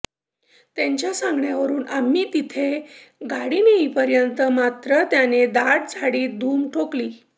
त्यांच्या सांगण्यावरून आम्ही तिथे गाडी नेईपर्यंत मात्र त्याने दाट झाडीत धूम ठोकली